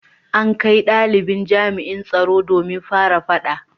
An kai dalibin jami’an tsaro domin fara fada